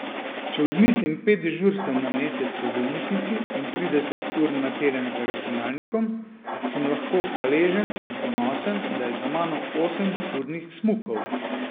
Če odmislim pet dežurstev na mesec v bolnišnici in trideset ur na teden za računalnikom, sem lahko hvaležen in ponosen, da je za mano osem turnih smukov.